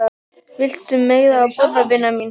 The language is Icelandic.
Viltu meira að borða, vina mín